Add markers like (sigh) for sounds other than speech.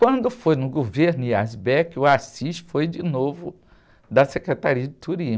Quando foi no governo, (unintelligible) o (unintelligible) foi de novo da Secretaria de Turismo.